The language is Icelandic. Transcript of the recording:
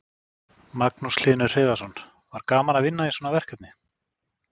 Magnús Hlynur Hreiðarsson: Var gaman að vinna í svona verkefni?